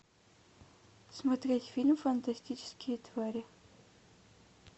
смотреть фильм фантастические твари